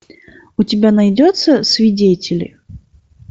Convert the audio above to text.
у тебя найдется свидетели